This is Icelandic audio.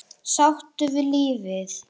Sáttur við lífið.